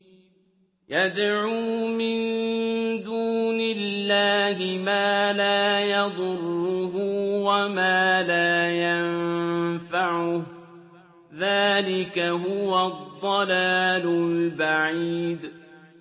يَدْعُو مِن دُونِ اللَّهِ مَا لَا يَضُرُّهُ وَمَا لَا يَنفَعُهُ ۚ ذَٰلِكَ هُوَ الضَّلَالُ الْبَعِيدُ